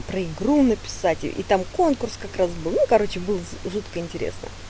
про игру написать и там конкурс как раз был ну короче был жутко интересно